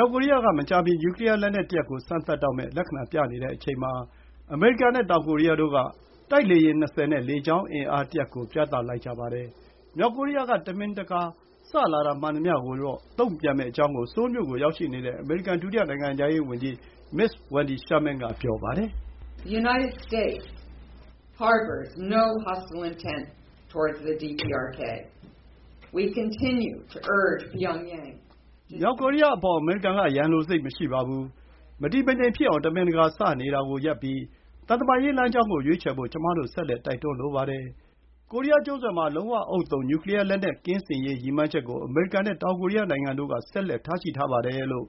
ောက်ကိုရီးယားက မကြာမီ နျူကလီယား လက်နက်တရပ်ကို စမ်းသပ်တော့မယ့် လက္ခဏာပြနေချိန်မှာ အမေရိကန်နဲ့ တောင်ကိုရီးယားတို့က တိုက်လေယာဉ် ၂၀ နဲ့ လေကြောင်းအင်အားတရပ်ကို ပြသလိုက်ကြပါတယ်။ မြောက်ကိုရီးယား က တမင်တကာ စလာတာမှန်သမျှကို တုံ့ပြန်မယ့်အကြောင်း ဆိုးလ်မြို့ကို ရောက်ရှိနေတဲ့ အမေရိကန် ဒုတိယနိုင်ငံခြားရေးဝန်ကြီး မစ္စ Wendy Sherman က ပြောပါတယ်။ “မြောက်ကိုရီးယားအပေါ် အမေရိကန်က ရန်လိုစိတ်မရှိပါဘူး။ မတည်မငြိမ်ဖြစ်အောင်၊ တမင်တကာ စနေတာကိုရပ်ပြီး သံတမန်ရေးလမ်းကြောင်းကို ရွေးချယ်ဖို့ ကျမတို့ ဆက်လက် တိုက်တွန်းလိုပါတယ်။ ကိုရီးယားကျွန်းဆွယ်မှာ လုံးဝဥဿုံ နျူကလီယားလက်နက်ကင်းစင်ရေး ရည်မှန်းချက်ကို အမေရိကန်နဲ့ တောင်ကိုရီးယားနိုင်ငံတို့က ဆက်လက်ထားရှိထားပါတယ်။” လို့